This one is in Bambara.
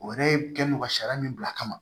O yɛrɛ kɛ n don ka sariya min bila a kama